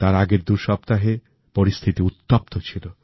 তার আগের দুসপ্তাহে পরিস্থিতি উত্তপ্ত ছিল